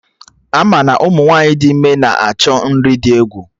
Ama na Ụmụ nwaanyị dị ime na-achọ nri dị egwu